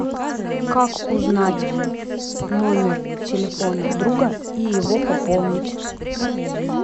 как узнать номер телефона друга и его пополнить